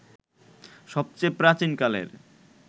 সবচেয়ে প্রাচীন কালের